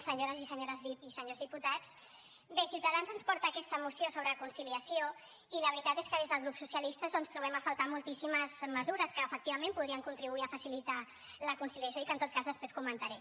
senyores i senyors diputats bé ciutadans ens porta aquesta moció sobre conciliació i la veritat és que des del grup socialista doncs trobem a faltar moltíssimes mesures que efectivament podrien contribuir a facilitar la conciliació i que en tot cas després comentaré